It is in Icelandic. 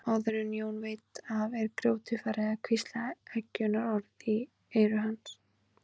Áður en Jón veit af er grjótið farið að hvísla eggjunarorð í eyru hans.